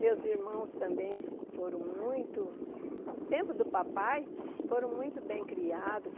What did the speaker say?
Meus irmãos também foram muito... No tempo do papai, foram muito bem criados.